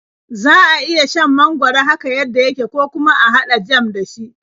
Za a iya shan mangwaro haka yadda yake, ko kuma a haɗa jam da shi.